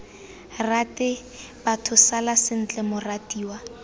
rate batho sala sentle moratiwa